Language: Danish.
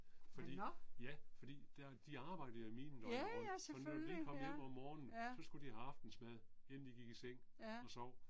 Fordi, ja, fordi, der de arbejde jo i minen døgnet rundt og når de kom hjem om morgenen så skulle de have aftensmad inden de gik i seng og sov